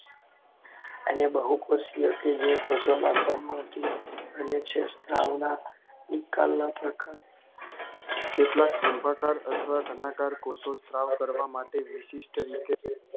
અને બહુપેશીઓ કે જે કોષોમાં સમાતી અનુચ્છેદ સ્ત્રાવના એક્કલના કેટલાક સ્તંભાકાર અથવા ધનાકર કોષો સ્ત્રાવ કરવા માટે વિશિષ્ટ રીતે